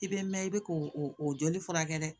I bɛ mɛn i bɛ k'o o o joli furakɛ dɛ